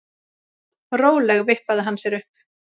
Rólega vippaði hann sér upp.